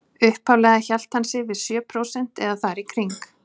Upphaflega hélt hann sig við sjö prósent eða þar í kring.